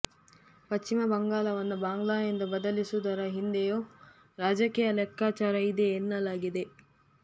ಪಶ್ಚಿಮ ಬಂಗಾಲವನ್ನು ಬಾಂಗ್ಲಾ ಎಂದು ಬದಲಿಸುವುದರ ಹಿಂದೆಯೂ ರಾಜಕೀಯ ಲೆಕ್ಕಾಚಾರ ಇದೆ ಎನ್ನಲಾಗಿದೆ